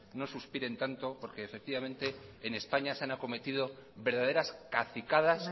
no suspiren tanto porque efectivamente en españa se han acometido verdaderas cacicadas